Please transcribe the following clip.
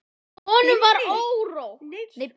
Honum var órótt.